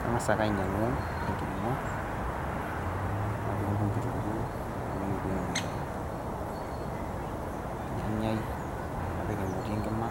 Kang'asa ake ainyang'u enkiring'o nadung'dung' kitunguu nadung'dung' ornyanyai, napik emoti enkima,